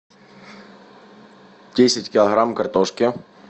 десять килограмм картошки